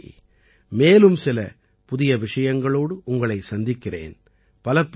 அடுத்த முறை மேலும் சில புதிய விஷயங்களோடு உங்களை சந்திக்கிறேன்